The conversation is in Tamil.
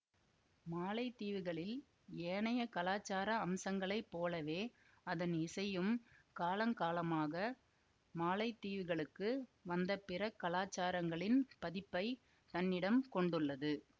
மாலைத்தீவுகளில் ஏனைய கலாச்சார அம்சங்களைப் போலவே அதன் இசையும் காலங்காலமாக மாலைத்தீவுகளுக்கு வந்த பிற காலாசாரங்களின் பதிப்பை தன்னிடம் கொண்டுள்ளது